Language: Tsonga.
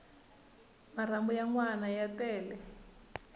marhambu ya nwana ya tele